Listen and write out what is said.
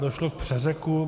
Došlo k přeřeku.